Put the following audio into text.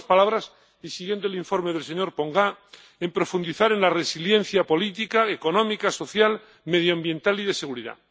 en otras palabras, y siguiendo el informe del señor Ponga, en profundizar en la resiliencia política, económica, social, medioambiental y de seguridad.